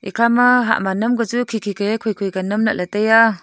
ekha ma hah ma nam ka chu khi khi ka khoi khoi ka nam lah ley tai a.